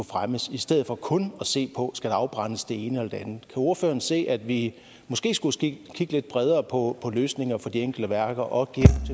fremmes i stedet for kun at se på om skal afbrændes det ene andet kan ordføreren se at vi måske skulle kigge lidt bredere på løsninger for de enkelte værker og